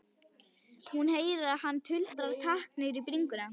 Hún heyrir að hann tuldrar takk niður í bringuna.